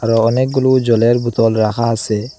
আর অনেকগুলো জলের বোতল রাহা আসে।